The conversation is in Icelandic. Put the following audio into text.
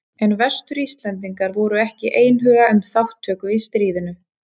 En Vestur-Íslendingar voru ekki einhuga um þátttöku í stríðinu.